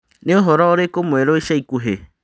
nĩ ũhoro ũrĩkũ mwerũ ica ikuhĩ